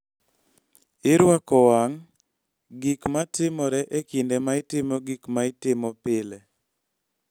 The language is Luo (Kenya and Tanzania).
Irwako wang� gik ma timore e kinde ma itimo gik ma itimo pile.